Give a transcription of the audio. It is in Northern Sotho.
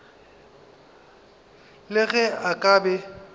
le ge a ka be